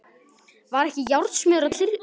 Var ekki járnsmiður að trítla þarna?